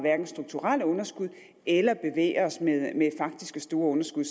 strukturelle underskud eller bevæger os med faktiske store underskud